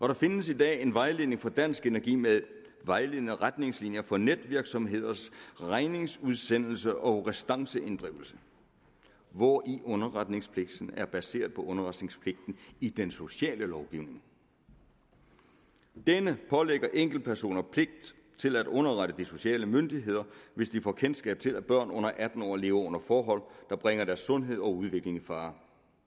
der findes i dag en vejledning fra dansk energi med vejledende retningslinjer for netvirksomheders regningsudsendelse og restanceinddrivelse hvori underretningspligten er baseret på underretningspligten i den sociale lovgivning denne pålægger enkeltpersoner pligt til at underrette de sociale myndigheder hvis de får kendskab til at børn under atten år lever under forhold der bringer deres sundhed og udvikling i fare